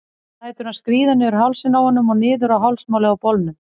Lætur hann skríða niður hálsinn á honum og niður á hálsmálið á bolnum.